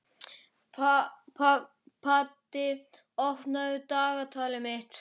Patti, opnaðu dagatalið mitt.